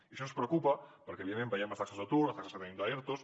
i això ens preocupa perquè evidentment veiem les taxes d’atur i les taxes que tenim d’ertos